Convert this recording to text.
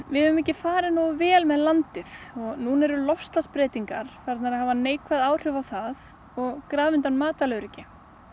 við höfum ekki farið nógu vel með landið og núna eru loftslagsbreytingar farnar að hafa neikvæð áhrif á það og grafa undan matvælaöryggi